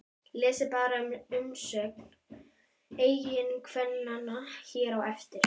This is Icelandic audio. Lesið bara umsögn eiginkvennanna hér á eftir